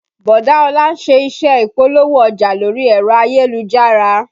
Bọ̀dá Ọlá ń ṣe iṣẹ́ Ìpolówó ọjà lórí ẹ̀rọ ayélujára